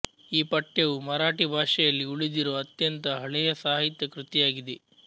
ಈ ಪಠ್ಯವು ಮರಾಠಿ ಭಾಷೆಯಲ್ಲಿ ಉಳಿದಿರುವ ಅತ್ಯಂತ ಹಳೆಯ ಸಾಹಿತ್ಯ ಕೃತಿಯಾಗಿದೆ